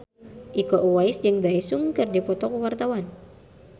Iko Uwais jeung Daesung keur dipoto ku wartawan